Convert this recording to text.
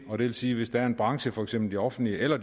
vil sige at hvis der er en branche for eksempel det offentlige eller